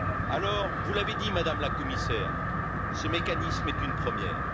Alors, vous l'avez dit, Madame la Commissaire, ce mécanisme est une première.